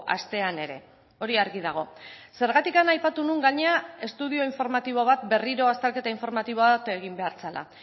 astean ere hori argi dago zergatik aipatu nuen gainera estudio informatibo bat berriro azterketa informatibo bat egin behar zela